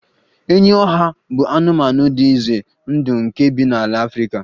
enyi ohia bụ anụmanụ dị ize ndụ nke bi na ala Afrika